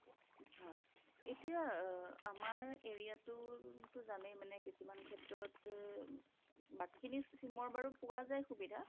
হয় এতিয়া আমাৰ area টো যানেই মানে কিছুমান ক্ষেত্ৰত বাকি খিনি sim ৰ বাৰু পোৱা যায় সুবিধা